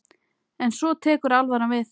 En svo tekur alvaran við.